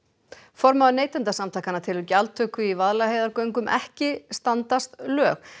formaður Neytendasamtakanna telur gjaldtöku í Vaðlaheiðargöngum ekki standast lög